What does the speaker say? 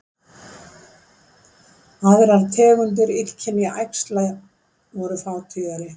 Aðrar tegundir illkynja æxla voru fátíðari